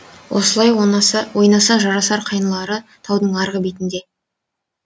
осылай ойнаса жарасар қайнылары таудың арғы бетінде